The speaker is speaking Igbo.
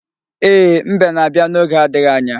Ee, Mbe na-abịa n'oge adighi anya.